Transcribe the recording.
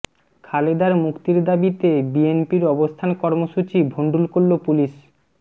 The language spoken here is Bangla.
খালেদার মুক্তির দাবিতে বিএনপির অবস্থান কর্মসূচি ভণ্ডুল করল পুলিশ